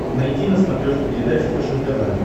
найти на смотрешке передачу фэшен тв